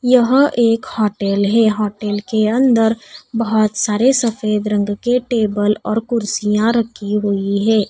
यहां एक होटल है। होटल के अंदर बहुत सारे सफेद रंग के टेबल और कुर्सियां रखी हुई है।